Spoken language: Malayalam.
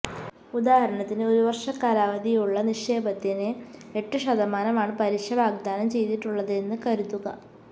ഉദാഹരണത്തിന് ഒരുവര്ഷ കാലാവധിയുള്ള നിക്ഷേപത്തിന് എട്ട് ശതമാനമാണ് പലിശ വാഗ്ദാനം ചെയ്തിട്ടുള്ളതെന്ന് കരുതുക